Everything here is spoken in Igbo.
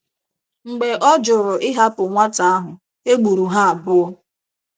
Mgbe ọ jụrụ ịhapụ nwata ahụ, e gburu ha abụọ.